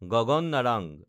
Gagan Narang